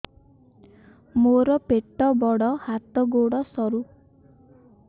ମୋର ପେଟ ବଡ ହାତ ଗୋଡ ସରୁ